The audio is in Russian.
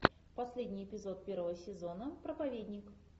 последний эпизод первого сезона проповедник